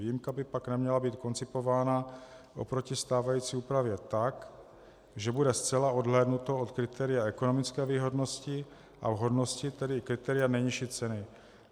Výjimka by pak neměla být koncipována oproti stávající úpravě tak, že bude zcela odhlédnuto od kritéria ekonomické výhodnosti a vhodnosti, tedy kritéria nejnižší ceny.